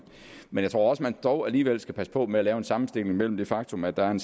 men jeg tror at man dog alligevel skal passe på med at lave en sammenstilling mellem det faktum at der er en